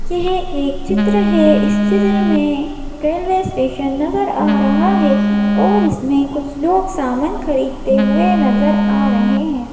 यह एक चित्र है इस चित्र में स्टेशन नजर आ रहा है और इसमें कुछ लोग सामान खरीदते हुए नजर आ रहे हैं।